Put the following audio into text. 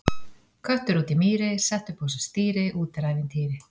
Köttur úti í mýri, setti upp á sig stýri, úti er ævintýri!